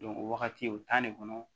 o wagati o de kɔnɔ